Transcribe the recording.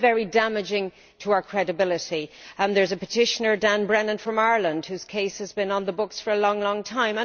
This is very damaging to our credibility. There is a petitioner, Dan Brennan, from Ireland, whose case has been on the books for a long time.